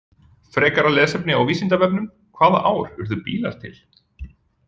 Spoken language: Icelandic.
Frekara lesefni á Vísindavefnum: Hvaða ár urðu bílar til?